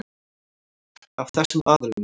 Af þessum aðilum.